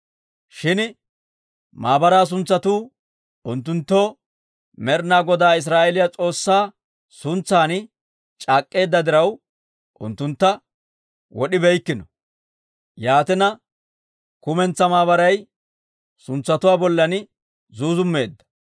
Shin maabaraa suntsatuu unttunttoo Med'ina Godaa Israa'eeliyaa S'oossaa suntsan c'aak'k'eedda diraw, unttuntta wod'ibeykkino. Yaatina, kumentsaa maabaray suntsatuwaa bollan zuuzummeedda.